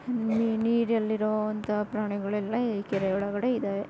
ನೀರಲ್ಲಿ ಇರೋ ಅಂತಹ ಪ್ರಾಣಿಗಳೆಲ್ಲ ಈ ಕೆರೆ ಒಳಗಡೆ ಇದ್ದಾವೆ.